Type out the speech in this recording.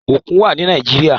Òkun wà ni Nàíjíríà.